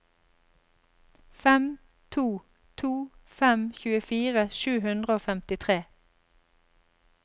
fem to to fem tjuefire sju hundre og femtitre